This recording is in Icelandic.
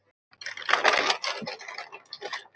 Þetta virkar best fyrir okkur.